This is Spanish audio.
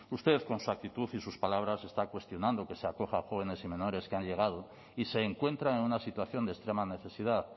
usted con su actitud y sus palabras está cuestionando que se acoja a jóvenes y menores que han llegado y se encuentran en una situación de extrema necesidad